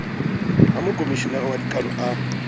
ha mokomeshenara wa dikano a